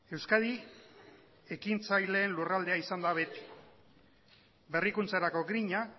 euskadi ekintzaileen lurraldea izan da beti berrikuntzarako griña